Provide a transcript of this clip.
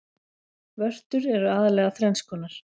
Vörtur eru aðallega þrenns konar.